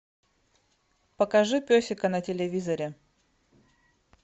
покажи песика на телевизоре